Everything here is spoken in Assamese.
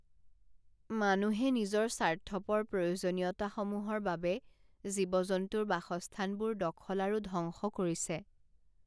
মানুহে নিজৰ স্বাৰ্থপৰ প্ৰয়োজনীয়তাসমূহৰ বাবে জীৱ জন্তুৰ বাসস্থানবোৰ দখল আৰু ধ্বংস কৰিছে।